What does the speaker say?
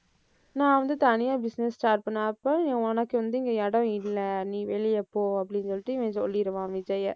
நான் வந்து தனியா business start பண்ண, அப்ப உனக்கு வந்து இங்க இடம் இல்ல. நீ வெளிய போ, அப்படின்னு சொல்லிட்டு இவன் சொல்லிடுவான் விஜய்யை.